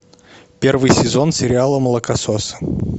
первый сезон сериала молокососы